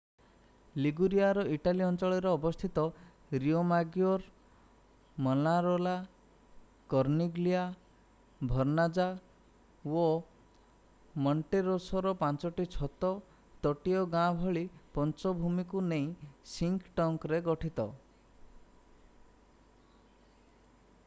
ଲିଗୁରିଆର Italy ଅଞ୍ଚଳରେ ଅବସ୍ଥିତ Riomaggiore Manarola Corniglia Vernazza ଓ ମୋଣ୍ଟେରୋସୋର ପାଞ୍ଚୋଟି ଛୋଟ ତଟୀୟ ଗାଁ ଭଳି ପଞ୍ଚ ଭୂମିକୁ ନେଇ ସିଙ୍କ୍ ଟେରେ ଗଠିତ